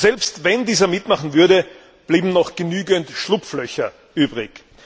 Selbst wenn dieser mitmachen würde, blieben noch genügend Schlupflöcher übrig.